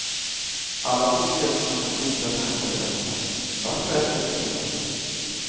Alla tycks gödsla med goda tankar och löften, vart och ett efter sin fason.